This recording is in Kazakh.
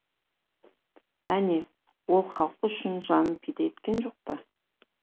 әне ол халқы үшін жанын пида еткен жоқ па